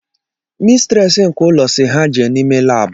Mistires nke ụlọ si ha jee n’ime laabu